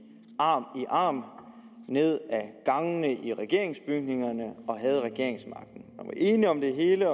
arm i arm ned ad gangene i regeringsbygningerne og havde regeringsmagten man var enige om det hele